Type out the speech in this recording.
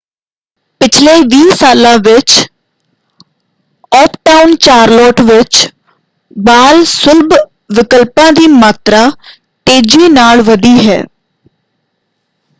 ਪਿਛਲੇ 20 ਸਾਲਾਂ ਵਿੱਚ ਆੱਪਟਾਊਨ ਚਾਰਲੋਟ ਵਿੱਚ ਬਾਲ-ਸੁਲਭ ਵਿਕਲਪਾਂ ਦੀ ਮਾਤਰਾ ਤੇਜ਼ੀ ਨਾਲ ਵਧੀ ਹੈ।